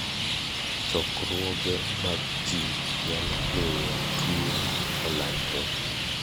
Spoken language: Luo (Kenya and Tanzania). Chokruoge mag ji nyalo miyo tuwo olandre.